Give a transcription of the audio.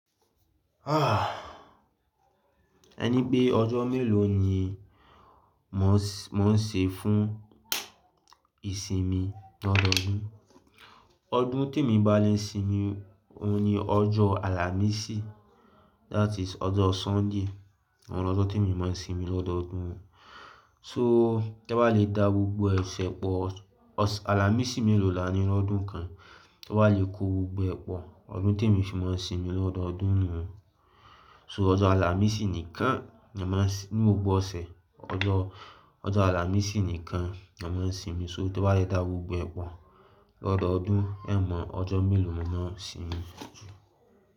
Ẹ ní pé ọjọ́ mélòó ni mò ń ṣe fún ìsinmi lọ́dọọdún? Ọdún tí èmi bá le sinmi, òhun ni ọjọ́ àlàmísì, that is ọjọ́ Sunday. Ọ̀hun lo ọjọ́ tí mo máa ń sinmi lọ́dọọdún. So, tẹ bá le dá gbogbo ẹsẹ̀ pọ̀, ọs-- àlàmísì mélòó là ní lọ́dún kan? Bó bá le kó gbogbo ẹ pọ̀, ọdún tí èmi fi máa ń sinmi lọ́dọọdún náà. So ọjọ́ àlàmísì nìkan ni a máa ń s-- ní gbogbo ọ̀sẹ̀, ọjọ́, ọjọ́ àlàmísì nìkan ni a máa ń sinmi. So tí ẹ ò bá le dá gbogbo ẹ pọ̀ lọ́dọọdún, ẹ mọ ọjọ́ mélòó mo máa ń sinmi.